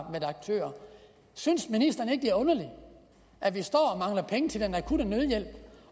aktør synes ministeren ikke det er underligt at vi står og mangler penge til den akutte nødhjælp